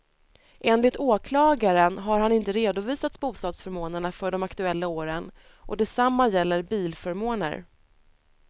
Enligt åklagaren har han inte redovisat bostadsförmånerna för de aktuella åren och detsamma gäller bilförmåner.